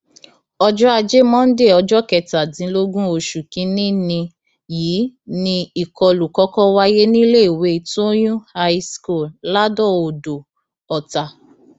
ọjọ ajé monde ọjọ kẹtàdínlógún oṣù kìnínní yìí ni ìkọlù kọkọ wáyé níléèwé tóyún high school ladọodò ọtá